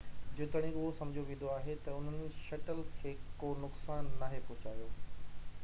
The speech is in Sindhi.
جيتوڻيڪ اهو سمجهيو ويندو آهي ته انهن شٽل کي ڪو نقصان ناهي پهچايو